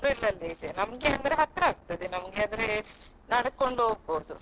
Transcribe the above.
ಅದ್ರದ್ದುಸ April ಅಲ್ಲಿ ಇದೆ ನಮ್ಗೆ ಅಂದ್ರೆ ಹತ್ರ ಆಗ್ತದೆ ನಮ್ಗೆ ಅಂದ್ರೆ ನಡ್ಕೊಂಡು ಹೋಗ್ಬೋದು.